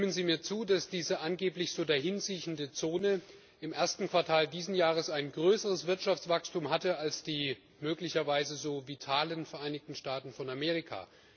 Stimmen Sie mir zu, dass diese angeblich so dahinsiechende Zone im ersten Quartal dieses Jahres ein größeres Wirtschaftswachstum hatte als die möglicherweise so vitalen Vereinigten Staaten von Amerika?